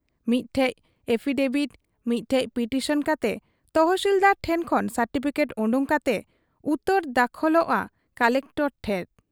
ᱢᱤᱫᱴᱷᱮᱫ affidavit, ᱢᱤᱫᱴᱷᱮᱫ petition ᱠᱟᱛᱮ ᱛᱚᱦᱥᱤᱞᱫᱟᱨ ᱴᱷᱮᱫ ᱠᱷᱚᱱ ᱥᱟᱨᱴᱤᱯᱷᱤᱠᱮᱴ ᱚᱰᱚᱠ ᱠᱟᱛᱮ ᱩᱛᱟᱹᱨ ᱫᱟᱠᱷᱚᱞᱚᱜ ᱟ ᱠᱚᱞᱮᱠᱴᱚᱨ ᱴᱷᱮᱫ ᱾